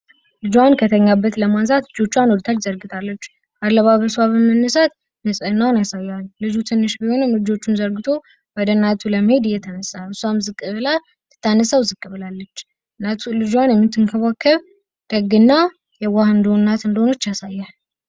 ልጇን ከተኛበት ለማንሳት እጆቿን ወደ ታች ዘርግታለች። አለባበሷ በመነሳት ንጽህናዋን ያሳያል። ልጁ ትንሽ ቢሆንም እጆቹን ዘርግቶ ወደ እናቱ ለመሄድ የተነሳሁት። እሷም ልታነሳው ዝቅ ብላለች። ልጇን የምታውቀው ደግና የዋህ እንደሆነ እንደሆነች ያሳያል.